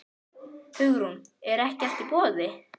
Hugrún: Er ekki allt í boði?